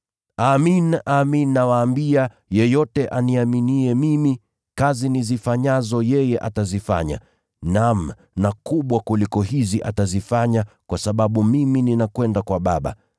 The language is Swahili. Amin, amin nawaambia, yeyote aniaminiye mimi, kazi nizifanyazo yeye atazifanya, naam na kubwa kuliko hizi atazifanya, kwa sababu mimi ninakwenda kwa Baba.